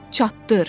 Çatdır!